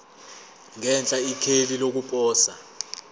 ngenhla ikheli lokuposa